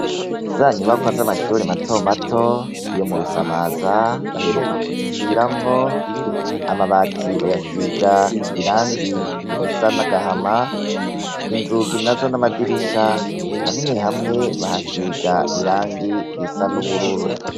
Za nyubakwa z'amashure mato mato yo mu Rusamaza baheruka kuzisubiramwo, amabati bayasiga irangi risa n'agahama, inzugi na zo n'amadirisha hamwe hamwe bahasiga irangi risa n'ubururu.